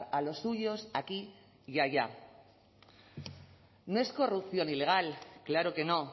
a los suyos aquí y haya no es corrupción ilegal claro que no